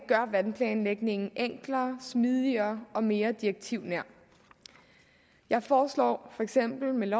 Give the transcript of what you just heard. gør vandplanlægningen enklere smidigere og mere direktivnær jeg foreslår for eksempel med